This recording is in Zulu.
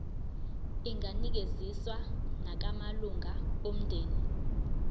inganikezswa nakumalunga omndeni